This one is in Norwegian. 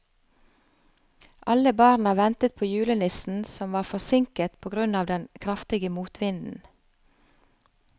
Alle barna ventet på julenissen, som var forsinket på grunn av den kraftige motvinden.